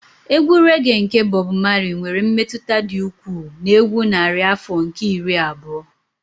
Egwu rẹ́ge nke Bob Marley nwere mmetụta dị ukwuu na egwu narị afọ nke iri abụọ.